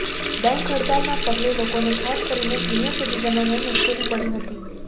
bank હડતાલના પગલે લોકોને ખાસ કરીને સિનિયર સિટીઝનોને મુશ્કેલી પડી હતી